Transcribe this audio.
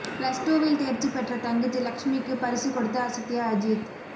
plus டூவில் தேர்ச்சி பெற்ற தங்கச்சி லக்ஷ்மிக்கு பரிசு கொடுத்து அசத்திய அஜீத்